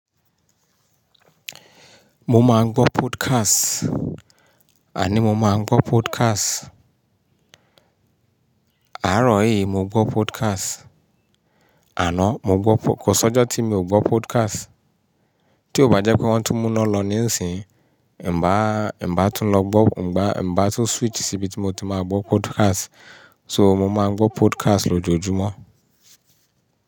Mo máa ń gbọ́ podcast. Àní mo máa ń gbọ́ podcast. Àárọ̀ yìí mo gbọ́ podcast. Àná mo gbọ́, kò sọ́jà tí mi ò gbọ́ podcast. Tí ó bá jẹ́ pé wọ́n tún mú iná lọ níìsín, ẹ̀n bá, ẹ̀n bá tún lọ gbọ́, ẹ̀n bá, ẹ̀n bá tún switch síbi tí mo ti máa gbọ́ podcast. So mo máa ń gbọ́ podcast lójoojúmọ́